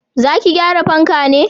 Za ki gyara fanka ne?